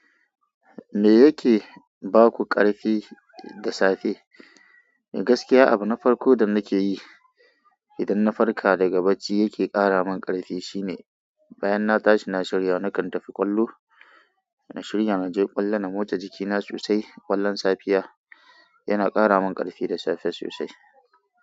Me yake baku ƙarfi da safe? Gaskiya abin na farko da nake yi idan na farka daga bacci yake ƙara min ƙarfi, shine bayan na tashi na shirya, nakan tafi ƙwallo. Na shirya na je ƙwallon na motsa jikina sosai. Kallon safiya yana kara mani karfi da safe sosai.